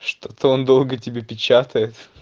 что-то он долго тебе печатает